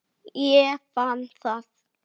Mér er alvara með þessu.